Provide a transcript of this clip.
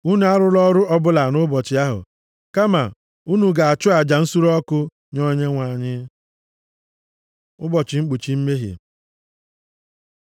Unu arụla ọrụ ọbụla nʼụbọchị ahụ, kama unu ga-achụ aja nsure ọkụ nye Onyenwe anyị.’ ” Ụbọchị Mkpuchi Mmehie